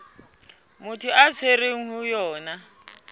motho a tshwerweng ho yona